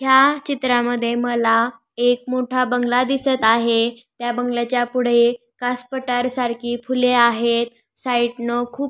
ह्या चित्रामध्ये मला एक मोठा बंगला दिसत आहे त्या बंगल्याच्या पुढे कास पठार सारखी फुले आहेत साईट न खूप--